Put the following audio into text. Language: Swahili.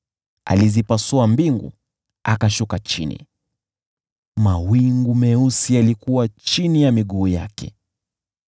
Akazipasua mbingu akashuka chini, mawingu meusi yalikuwa chini ya miguu yake.